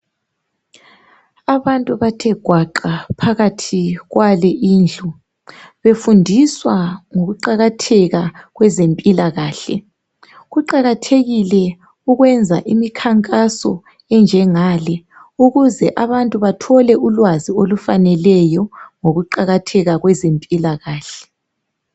Abantu bathe gwaqa phakathi kwale indlu befundiswa ngokuqakatheka kwezempilakahle. Kuqakathekile ukwenza imikhankaso enjengale ukuze abantu bathole ulwazi olufaneleyo ngokuqakatheka kwezempilakahle.